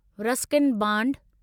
Ruskin bond